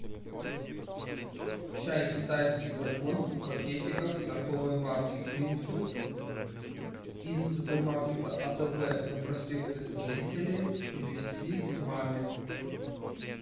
чай китайский дракон в пакетиках торговой марки гринфилд из супермаркета атб на проспекте строителей привезти к маме